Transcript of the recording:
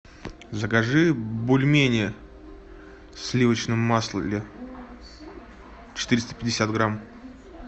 закажи бульмени в сливочном масле четыреста пятьдесят грамм